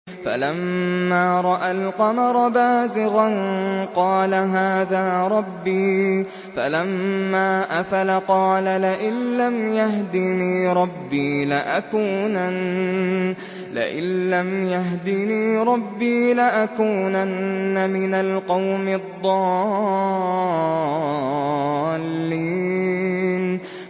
فَلَمَّا رَأَى الْقَمَرَ بَازِغًا قَالَ هَٰذَا رَبِّي ۖ فَلَمَّا أَفَلَ قَالَ لَئِن لَّمْ يَهْدِنِي رَبِّي لَأَكُونَنَّ مِنَ الْقَوْمِ الضَّالِّينَ